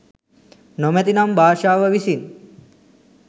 නොමැති නම් භාෂාව විසින්